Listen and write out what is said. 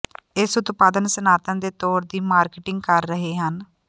ਇਸ ਉਤਪਾਦ ਸਨਾਤਨ ਦੇ ਤੌਰ ਦੀ ਮਾਰਕੀਟਿੰਗ ਕਰ ਰਹੇ ਹਨ